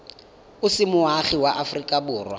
o se moagi wa aforika